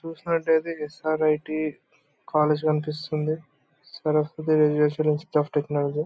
చూసినట్లయితే S R I T college కనిపిస్తుంది. Saraswati of technology .